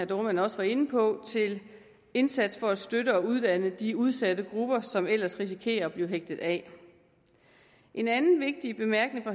dohrmann også var inde på til indsatser for at støtte og uddanne de udsatte grupper som ellers risikerer af blive hægtet af en anden vigtig bemærkning